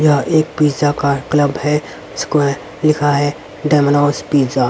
यह एक पिज़्ज़ा का क्लब है उसको लिखा है डोमिनोज पिज़्ज़ा ।